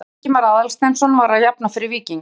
Baldur Ingimar Aðalsteinsson var að jafna fyrir Víking.